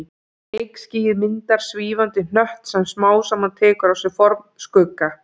Reykskýið myndar svífandi hnött sem smám saman tekur á sig form Skugga